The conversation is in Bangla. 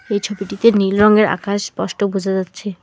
এই ছবিটিতে নীল রঙের আকাশ স্পষ্ট বোঝা যাচ্ছে।